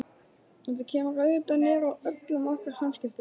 Þetta kemur auðvitað niður á öllum okkar samskiptum.